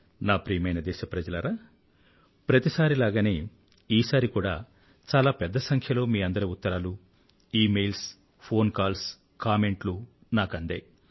నా ప్రియమైన దేశప్రజలారా ప్రతిసారిలాగానే ఈసారి కూడా చాలా పెద్ద సంఖ్యలో మీ అందరి ఉత్తరాలు ఈమెయిల్స్ ఫోన్ కాల్స్ కామెంట్లు నాకు అందాయి